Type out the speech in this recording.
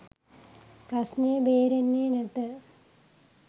ප්‍රශ්නය බේරෙන්නේ නැත